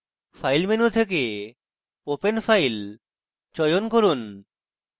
file menu থেকে open file চয়ন from